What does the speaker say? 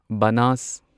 ꯕꯅꯥꯁ